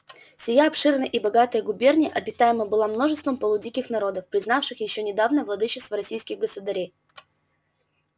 сия обширная и богатая губерния обитаема была множеством полудиких народов признавших ещё недавно владычество российских государей